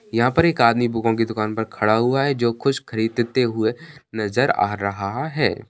यहां पर एक आदमी बुकों की दुकान पर खड़ा हुआ है जो कुछ खरीदते हुए नजर आ रहा है।